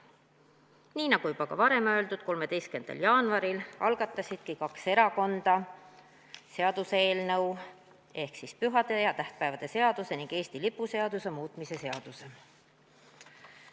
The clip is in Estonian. Nii nagu ka varem öeldud, 13. jaanuaril algatasidki kaks erakonda seaduseelnõu ehk pühade ja tähtpäevade seaduse ning Eesti lipu seaduse muutmise seaduse eelnõu.